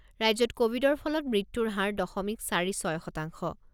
ৰাজ্যত ক'ভিডৰ ফলত মৃত্যুৰ হাৰ দশমিক চাৰি ছয় শতাংশ।